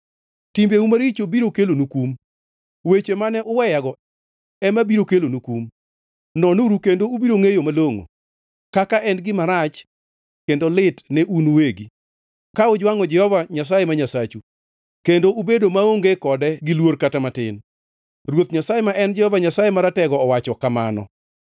Timbeu maricho biro kelonu kum; wech mane uweyago ema biro kelonu kum. Nonuru kendo ubiro ngʼeyo malongʼo, kaka en gima rach kendo lit ne un uwegi, ka ujwangʼo Jehova Nyasaye ma Nyasachu, kendo ubedo maonge kode gi luor kata matin,” Ruoth Nyasaye ma en Jehova Nyasaye Maratego, owacho kamano.